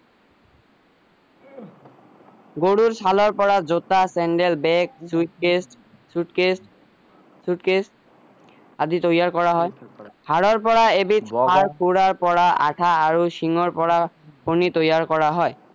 গৰুৰ ছালৰ পৰা জোতা sandal bag suitcase suitcase suitcase আদি তৈয়াৰ কৰা হয় সাৰৰ পৰা এবিধ আৰু শিং ৰ পৰা ফণী তৈয়াৰ কৰা হয়